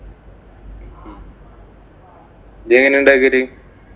ജ്ജ് എങ്ങനെയാ ഉണ്ടാക്കല്?